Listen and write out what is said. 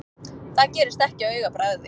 Það gerist ekki á augabragði.